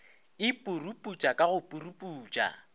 e puruputša ka go puruputša